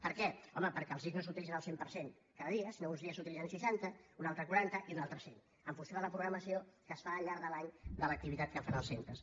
per què home perquè els llits no s’utilitzen al cent per cent cada dia sinó que uns dies se n’utilitzen el seixanta un altre el quaranta i un altre el cent en funció de la programació que es fa al llarg de l’any de l’activitat que fan els centres